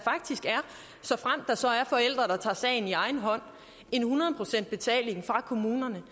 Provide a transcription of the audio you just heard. såfremt der så er forældre der tager sagen i egen hånd en hundrede procent betaling fra kommunerne